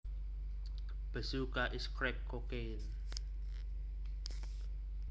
Bazooka is crack cocaine